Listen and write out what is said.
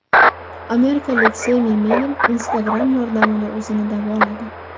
Amerikalik Semi Meyn Instagram yordamida o‘zini davoladi.